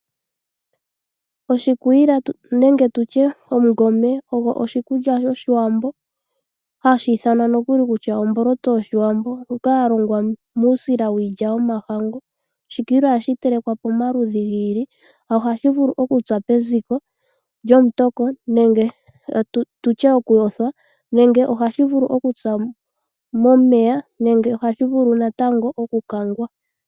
Oshikwiila osho oshikulya shOshiwambo hashi ithanwa nokuli kutya omboloto yOshiwambo ndjoka ya longwa muusila wiilya yomahangu. Oshikwiila ohashi telekwa pamaludhi gi ili. Ohashi vulu okupya peziko lyomutoko nenge tu tye okuyothwa nenge hashi vulu okupya momeya nenge ohashi vulu natango okukangwa.